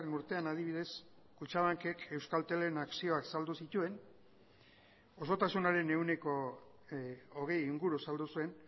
urtean adibidez kutxabankek euskaltelen akzioak saldu zituen osotasunaren ehuneko hogei inguru saldu zuen